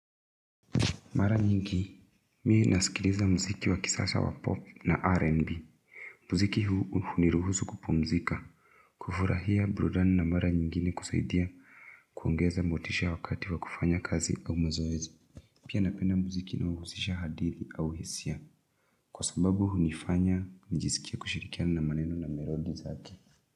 Mara nyingi, mimi nasikiliza mziki wa kisasa wa pop na rnb. Muziki huu huniruhusu kupumzika, kufurahia burudani na mara nyingine kusaidia kuongeza motisha wakati wa kufanya kazi au mazoezi. Pia napenda muziki unaohusisha hadithi au hisia. Kwa sababu hunifanya nijiskie kushirikiana na maneno na melodi zake.